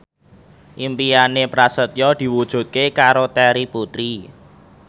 impine Prasetyo diwujudke karo Terry Putri